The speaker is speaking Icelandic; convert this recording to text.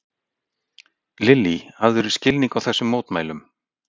Lillý: Hafðirðu skilning á þessum mótmælum?